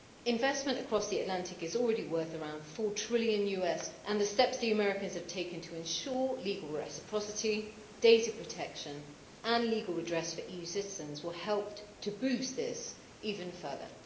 Investment across the Atlantic is already worth around USD 4 trillion, and the steps the Americans have taken to ensure legal reciprocity, data protection and legal redress for EU citizens will help to boost this even further.